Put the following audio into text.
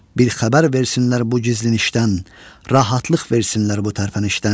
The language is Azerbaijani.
Bir xəbər versinlər bu gizlin işdən, rahatlıq versinlər bu tərpənişdən.